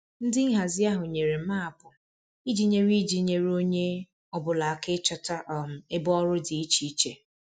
Ndị nhazi ahụ nyere maapụ iji nyere iji nyere onye ọ bụla aka ịchọta um ebe ọrụ dị iche iche